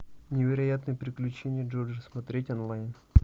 невероятные приключения джорджа смотреть онлайн